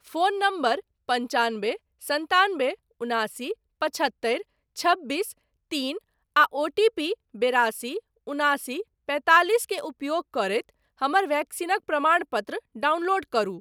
Phone number पन्चानबे सन्तानबे उनासी पचहत्तरि छब्बीस तीन आ ओटीपी बेरासी उनासी पैंतालिस के उपयोग करैत हमर वैक्सीनक प्रमाणपत्र डाउनलोड करु।